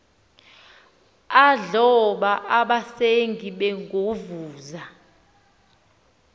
adloba abasengi begovuza